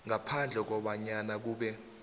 ngaphandle kobanyana kube